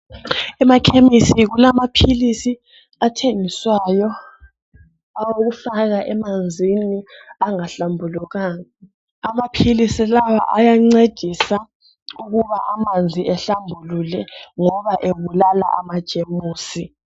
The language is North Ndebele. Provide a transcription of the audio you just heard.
emakhemisi kulamaphilisi athengiswayo awokufaka emanzini angahlambulukanga amaphilisi lawa awancedisa ukuba amanzi ahlambuluke ngoba ebulala ama jemusi